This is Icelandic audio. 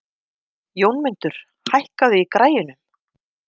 Jómundur, hækkaðu í græjunum.